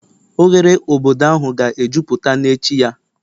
Oghere obodo ahụ ga-ejupụta n'echi ya